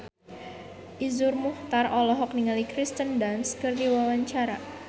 Iszur Muchtar olohok ningali Kirsten Dunst keur diwawancara